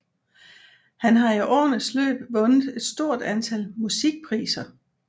Han har i årenes løb vundet et stort antal musikpriser